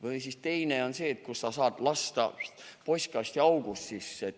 Või siis teine on see, kus sa saad lasta raamatu postkasti august sisse.